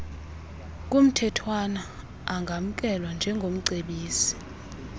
kumthethwana angamkelwa njengomcebisi